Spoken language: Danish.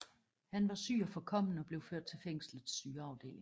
Han var syg og forkommen og blev ført til fængslets sygeafdeling